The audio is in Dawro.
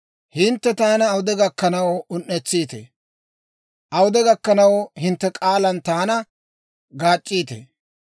«Hintte taana awude gakkanaw un"etsiitee? Awude gakkanaw hintte k'aalan taana gaac'c'iitee?